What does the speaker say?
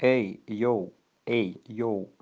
эй йоу эй йоу